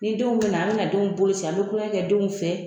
Ni denw bɛ na an bɛna denw boloci an tulonkɛ kɛ denw fɛ